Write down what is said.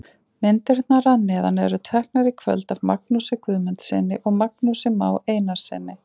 Myndirnar að neðan eru teknar í kvöld af Magnúsi Guðmundssyni og Magnúsi Má Einarssyni.